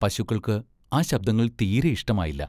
പശുക്കൾക്ക് ആ ശബ്ദങ്ങൾ തീരെ ഇഷ്ടമായില്ല.